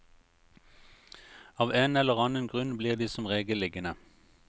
Av en eller annen grunn blir de som regel liggende.